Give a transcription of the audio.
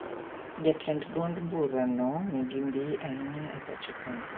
Jatend duond bura no nigi mbiii ainya e pacho kae